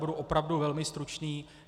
Budu opravdu velmi stručný.